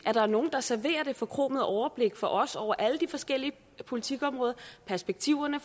at der er nogle der serverer det forkromede overblik for os over alle de forskellige politikområder perspektiverne